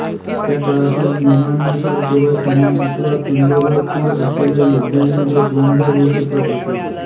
त्या काळातील नियमांनुसार केवळ समान अथवा तुल्यबळ कूळ असलेल्या योद्ध्यांमध्ये द्वंद्व होऊ शकत असे